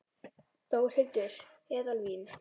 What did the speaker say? Þórhildur: Eðalvín?